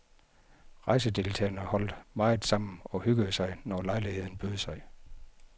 Rejsedeltagerne holdt meget sammen og hyggede sig, når lejligheden bød sig.